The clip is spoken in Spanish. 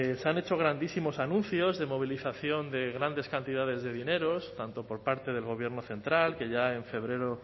se han hecho grandísimos anuncios de movilización de grandes cantidades de dinero tanto por parte del gobierno central que ya en febrero